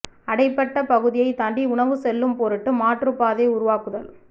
அடைபட்ட பகுதியைத் தாண்டி உணவு செல்லும் பொருட்டு மாற்றுப் பாதை உருவாக்குதல்